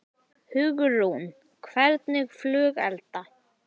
Hugrún: Hvernig flugelda?